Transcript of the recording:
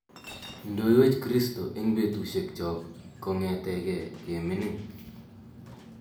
Ndoiwech kristo eng betusiek chog kongete kemining